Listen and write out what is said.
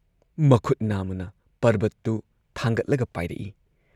ꯃꯈꯨꯠ ꯅꯥꯝꯃꯅ ꯄꯔꯕꯠꯇꯨ ꯑꯗꯨ ꯊꯥꯡꯒꯠꯂꯒ ꯄꯥꯏꯔꯛꯏ ꯫